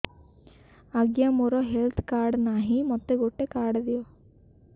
ଆଜ୍ଞା ମୋର health card ନାହିଁ ମୋତେ ଗୋଟେ କାର୍ଡ ଦିଅ